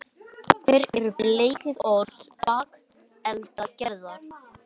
hver eru bleyðiorð bakeldagerðar